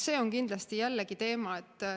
See on kindlasti jällegi teema.